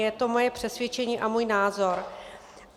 Je to moje přesvědčení a můj názor.